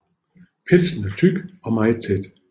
Pelsen er tyk og meget tæt